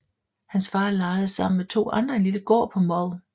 Hans far lejede sammen med to andre en lille gård på Mull